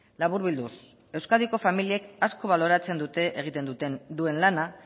laburbilduz euskadiko familiek asko baloratzen duten egiten duen lana